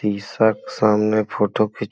photo खि --